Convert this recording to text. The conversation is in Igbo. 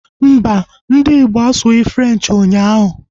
Mbà, ndị Igbo asughi Frenchi ụnyaahụ